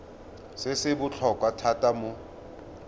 se se botlhokwa thata mo